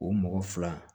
O mɔgɔ fila